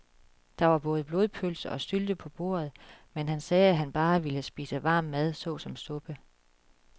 Der var både blodpølse og sylte på bordet, men han sagde, at han bare ville spise varm mad såsom suppe.